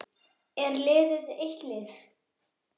Er liðið eitt lið?